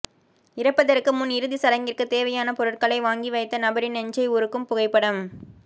இறப்பதற்கு முன் இறுதிச்சடங்கிற்கு தேவையான பொருட்களை வாங்கி வைத்த நபரின் நெஞ்சை உருக்கும் புகைப்படம்